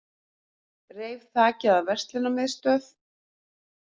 Reif þakið af verslunarmiðstöð